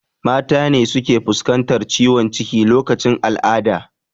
Mata ne suke fuskantar ciwon ciki lokacin al'ada